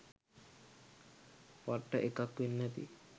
පට්ට එකක් වෙන්නැති